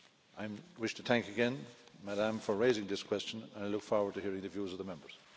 I wish to thank again Ms Kammerevert for raising this question, and I look forward to hearing the views of the Members.